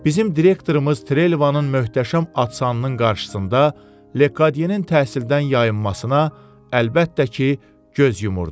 Bizim direktorumuz Trelivanın möhtəşəm atsanının qarşısında Lediyenin təhsildən yayınmasına əlbəttə ki, göz yumurdu.